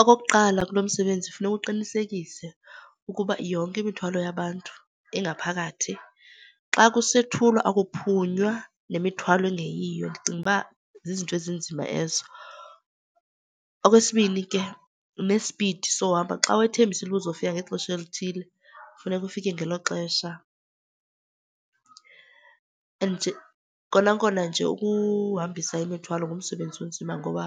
Okokuqala, kulo msebenzi funeka uqinisekise ukuba yonke imithwalo yabantu ingaphakathi. Xa kusethulwa akuphunywa nemithwalo engeyiyo, ndicinga uba zizinto ezinzima ezo. Okwesibini ke, nespidi sohamba. Xa wethembisile uba uzofika ngexesha elithile funeka ufike ngelo xesha. Nje kona kona nje ukuhambisa imithwalo ngumsebenzi onzima ngoba